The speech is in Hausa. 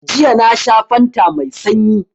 Jiya na sha fanta mai sanyi